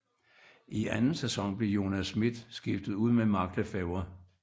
I anden sæson blev Jonas Schmidt skiftet ud med Mark Le Fêvre